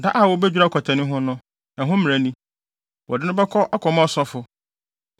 “Da a wobedwira ɔkwatani ho no, ɛho mmara ni: Wɔde no bɛkɔ akɔma ɔsɔfo,